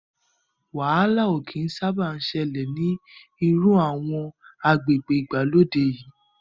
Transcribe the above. Wàhálà ó kín sábà ṣẹlẹ̀ ni iru awon agbègbè ìgbàlódé yii